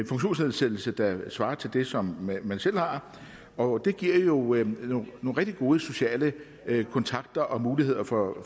funktionsnedsættelse der svarer til det som man selv har og det giver jo nogle rigtig gode sociale kontakter og muligheder for